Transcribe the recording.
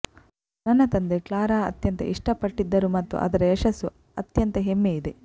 ನನ್ನ ತಂದೆ ಕ್ಲಾರಾ ಅತ್ಯಂತ ಇಷ್ಟಪಟ್ಟಿದ್ದರು ಮತ್ತು ಅದರ ಯಶಸ್ಸು ಅತ್ಯಂತ ಹೆಮ್ಮೆಯಿದೆ